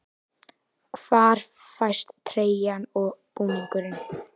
Hvar fæst treyjan og búningurinn?